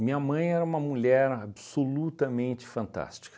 mãe era uma mulher absolutamente fantástica.